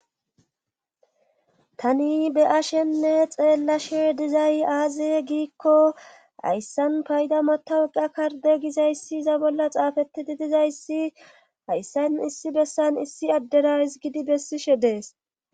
tani be'ashenne xeellashe dizay aaze giikko hayssan payda matawuqa karde gizayssi za bolla xaafetidi dizayssi hayssan issi bessan issi addera hisgidi bessishe dees